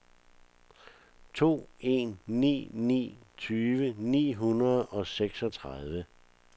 to en ni ni tyve ni hundrede og seksogtredive